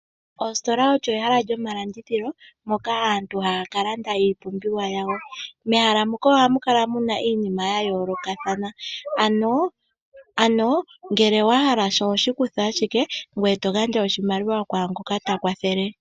Ositola olyo ehala lyomalandithilo moka aantu haya kalanda iipumbiwa yawo. Mehala muka ohamu kala muna iinima yayoolokathana , ano ngele wahala sha ohoshi kutha ashike, eto gandja oshimaliwa kwaangoka takwathele.